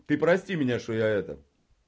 ты прости меня что я это